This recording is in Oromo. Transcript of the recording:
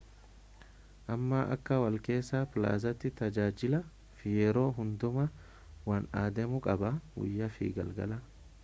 amma akka walakkeessa plazaati tajaajilaa fi yeroo hundumaa waan adeemu qabaa guyyaa fi galgalaa